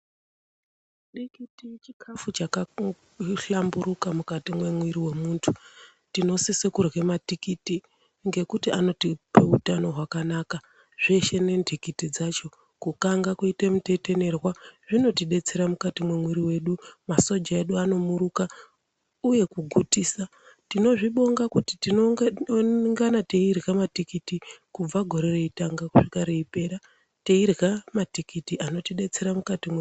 Dikiti chikafu chakahlamburuka mukati mwemwiri wemuntu tinosose kurya matikiti ngekuti anotipe utano hwakanaka zveshe nendikiti dzacho, kukanga kuite mutetenerwa zvinotidetsera mukati mwemwiri wedu masoja edu anomuruka uye kugutisa. Tonozvibonga kuti tinoungana teirya matikiti kubva gore reitanga kusvika reipera teirya matikiti anotidetsera mukati mwemwiri.